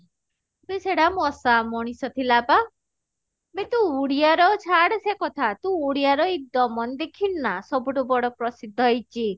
ବେ ସେଇଟା ମଶା ମଣିଷ ଥିଲା ବା ବେ ତୁ ଉଡିଆ ର ଛାଡ ସେ କଥା ତୁ ଉଡିଆ ର ଦମନ ଦେଖିନୁ ନା ସବୁ ଠୁ ବଡ ପ୍ରସିଦ୍ଧ ହେଇଛି